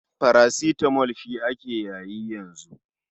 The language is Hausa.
Parasitamo shi ake yayi yanzu.